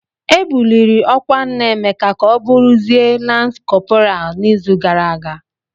E buliri ọkwa nna Emeka ka ọ bụrụzie Lans kọpral n'izu gara aga.